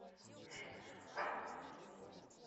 фильм зеленый фонарь